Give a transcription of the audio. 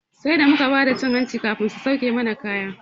Sai da muka bada cin hanci kafin suka sake mana kaya.